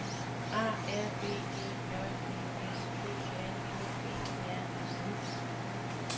A R B E J D S P R O G R A M